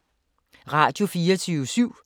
Radio24syv